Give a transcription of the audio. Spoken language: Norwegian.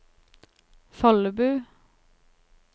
Follebu